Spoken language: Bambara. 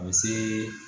A bɛ se